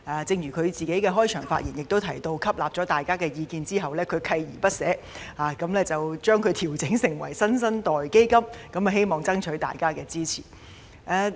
正如她在開場發言時提到，她在吸納大家的意見後，鍥而不捨，將嬰兒基金調整為"新生代基金"，希望爭取大家的支持。